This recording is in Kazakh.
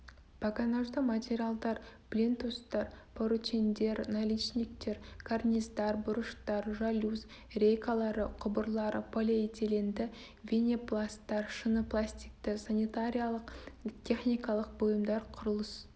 погонажды материалдар плинтустар поручендер наличниктер карниздар бұрыштар жалюзь рейкалары құбырлар полиэтиленді винипласттар шыныпластикті санитариялық-техникалық бұйымдар құрылыс